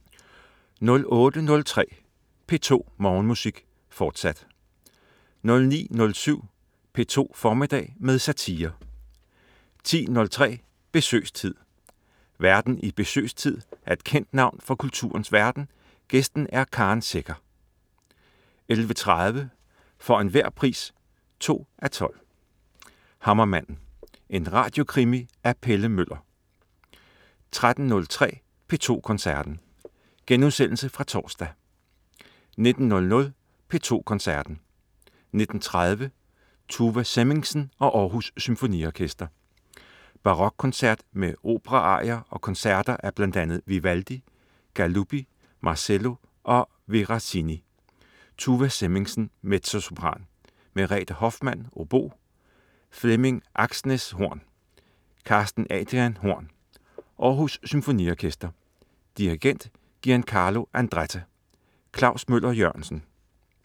08.03 P2 Morgenmusik, fortsat 09.07 P2 formiddag med satire 10.03 Besøgstid. Værten i "Besøgstid" er et kendt navn fra kulturens verden, gæsten er Karen Secher 11.30 For enhver pris 2:12. Hammermanden. En radiokrimi af Pelle Møller 13.03 P2 Koncerten. Genudsendelse fra torsdag 19.00 P2 Koncerten. 19.30 Tuva Semmingsen og Århus Symfoniorkester. Barokkoncert med operaarier og koncerter af bl.a. Vivaldi, Galuppi, Marcello og Veracini. Tuva Semmingsen, mezzosopran. Merete Hoffmann, obo. Flemming Aksnes, horn. Carsten Adrian, horn. Aarhus Symfoniorkester. Dirigent: Giancarlo Andretta. Klaus Møller-Jørgensen